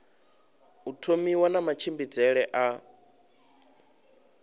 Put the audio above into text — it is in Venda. u thomiwa na matshimbidzele a